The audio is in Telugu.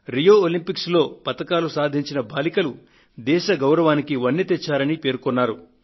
రియో ఒలంపిక్స్ లో పతకాలను సాధించిన బాలికలు దేశ గౌరవానికి వన్నె తెచ్చారని పేర్కొన్నారు